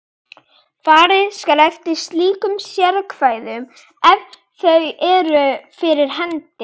Farið skal eftir slíkum sérákvæðum ef þau eru fyrir hendi.